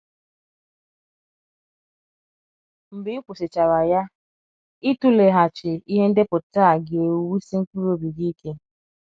Mgbe ị kwụsịchara ya, ịtụleghachi ihe ndepụta a ga - ewusi mkpebi gị ike.